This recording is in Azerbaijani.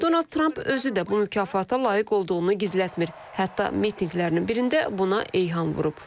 Donald Trump özü də bu mükafata layiq olduğunu gizlətmir, hətta mitinqlərinin birində buna eyham vurub.